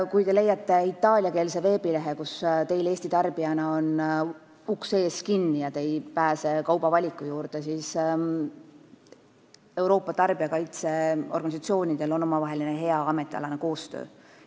Kui te leiate itaaliakeelse veebilehe, kus teil Eesti tarbijana on uks ees kinni ja te ei pääse kaubavaliku juurde, siis ütlen teile, et Euroopa tarbijakaitseorganisatsioonidel on omavaheline hea ametialane koostöö.